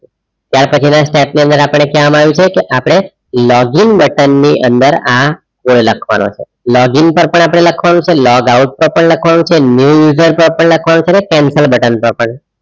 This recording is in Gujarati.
ત્યાં પાછી ના step ની અંદર આપડે કય આવીશુ આપડે login button ની અંદર આ લખવાનું છે login પર પણ આપણે લખવાનું છે log out પર પણ લખવાનું છે new user પર પણ આપણે લખવાનું છે ને cancel button પર પણ